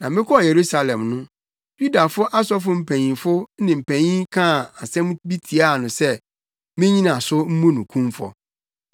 na mekɔɔ Yerusalem no, Yudafo asɔfo mpanyimfo ne mpanyin kaa nsɛm bi tiaa no sɛ minnyina so mmu no kumfɔ.